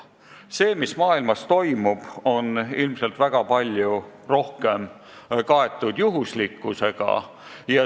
See, mis maailmas toimub, on ilmselt väga palju rohkem juhuslikkusega kaetud.